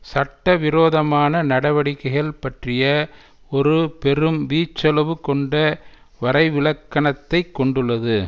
சட்டவிரோதமான நடவடிக்கைகள் பற்றிய ஒரு பெரும் வீச்சளவுகொண்ட வரைவிலக்கணத்தை கொண்டுள்ளது